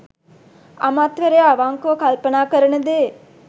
අමාත්‍යවරයා අවංකව කල්පනා කරන දේ